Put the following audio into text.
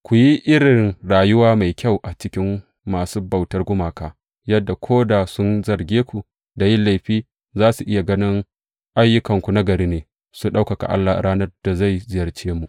Ku yi irin rayuwa mai kyau a cikin masu bautar gumaka, yadda ko da sun zarge ku da yin laifi, za su iya ganin ayyukanku nagari, su ɗaukaka Allah a ranar da zai ziyarce mu.